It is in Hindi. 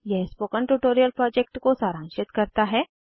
यह स्पोकन ट्यूटोरियल प्रोजेक्ट को सारांशित करता है